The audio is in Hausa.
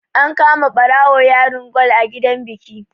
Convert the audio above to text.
An kama ɓarawo yarin kwal a gidan biki